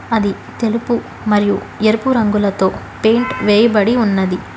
అది తెలుపు మరియు ఎరుపు రంగులతొ పెయింట్ వేయిబడి ఉన్నది.